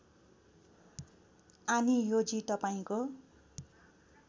आनियोजी तपाईँको